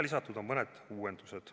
Lisatud on mõned uuendused.